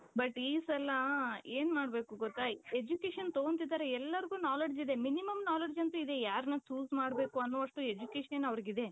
but ಈ ಸಲ ಏನ್ ಮಾಡ್ಬೇಕು ಗೊತ್ತ? Education ತಗೊಂತಿದ್ದಾರೆ ಎಲ್ಲರಿಗೂ knowledge ಇದೆ minimum knowledge ಅಂತೂ ಇದೆ ಯಾರನ್ನ choose ಮಾಡ್ಬೇಕು ಅನ್ನುವಷ್ಟು education ಅವರಿಗೆ ಇದೆ.